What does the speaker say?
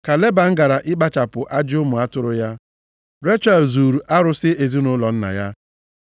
Ka Leban gara ịkpachapụ ajị ụmụ atụrụ ya, Rechel zuuru arụsị ezinaụlọ nna ya.